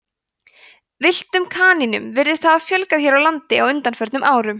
villtum kanínum virðist hafa fjölgað hér á landi á undanförnum árum